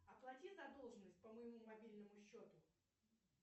оплати задолженность по моему мобильному счету